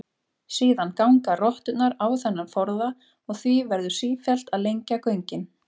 Síðan ganga rotturnar á þennan forða og því verður sífellt að lengja göngin.